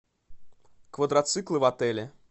квадроциклы в отеле